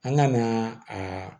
An ka na aa